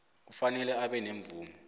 kufanele abe nemvumo